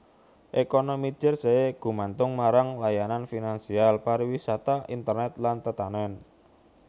Ekonomi Jersey gumantung marang layanan finansial pariwisata internet lan tetanèn